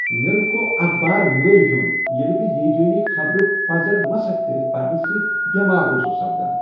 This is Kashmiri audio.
مےٚ رکوو اخبار ملی ہیوٚن ییٚلہ بہٕ ہیجٲنی خبرٕ پزر مسخ کٔرِتھ پرنہ سۭتۍ بیمار اوسس سپدان۔